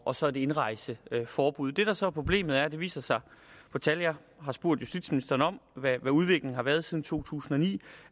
og så et indrejseforbud det der så er problemet er at det viser sig på tallene jeg har spurgt justitsministeren om hvordan udviklingen har været siden to tusind og ni